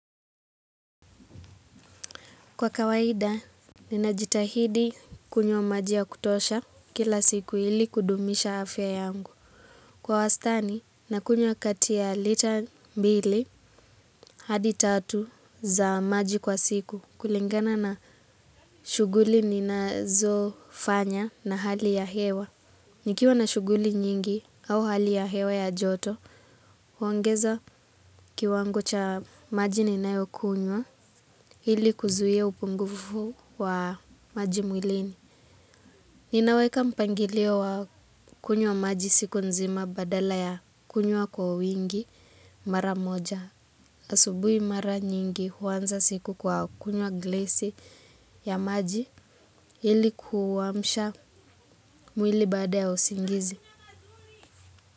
Kwa kawaida, ninajitahidi kunywa maji ya kutosha kila siku ili kudumisha afya yangu. Kwa wastani, nakunywa kati ya lita mbili hadi tatu za maji kwa siku kulingana na shughuli ninazofanya na hali ya hewa. Nikiwa na shughuli nyingi au hali ya hewa ya joto, huongeza kiwango cha maji ninayo kunywa ili kuzuia upungufu wa maji mwilini. Ninaweka mpangilio wa kunywa maji siku nzima badala ya kunywa kwa wingi mara moja. Asubuhi mara nyingi huanza siku kwa kunywa glesi ya maji ili kuamsha mwili baada ya usingizi.